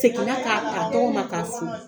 Seginna k'a t'a tɔgɔ ma k'a fo.